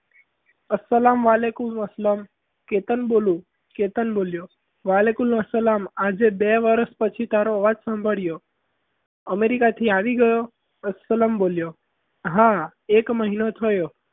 અસ્સલામ વાલેકુમ અસલમ કેતન બોલું કેતન બોલ્યો વાલેકુમ સલામ આજે બે વર્ષ પછી તારો અવાજ સાંભળ્યો america થી આવી ગયો અસલમ બોલ્યો હા એક મહિનો થયો.